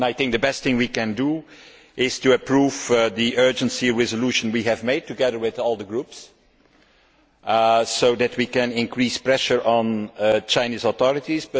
The best thing we can do is to approve the urgent resolution we have agreed together with all the groups so that we can increase pressure on the Chinese authorities.